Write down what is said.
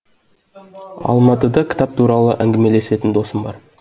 алматыда кітап туралы әңгімелесетін досым бар